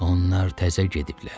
Onlar təzə gediblər.